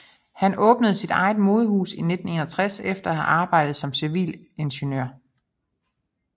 Han åbnede sit eget modehus i 1961 efter at have arbejdet som civilingeniør